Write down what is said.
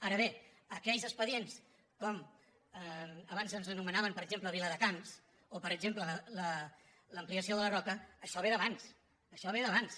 ara bé aquells expedients com abans ens anomenaven per exemple viladecans o per exemple l’ampliació de la roca ai·xò ve d’abans això ve d’abans